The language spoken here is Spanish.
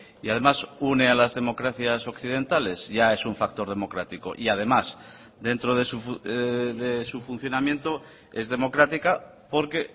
y además une a las democracias occidentales ya es un factor democrático y además dentro de su funcionamiento es democrática porque